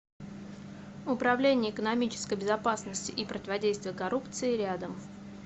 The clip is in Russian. управление экономической безопасности и противодействия коррупции рядом